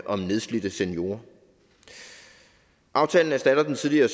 om nedslidte seniorer aftalen erstatter den tidligere